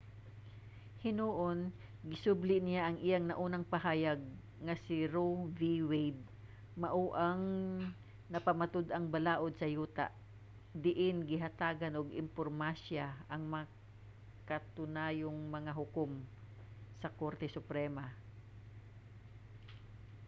hinuon gisubli niya ang iyang naunang pahayag nga si roe v. wade mao ang napamatud-ang balaod sa yuta diin gihatagan og importansya ang makanunayong mga hukom sa korte suprema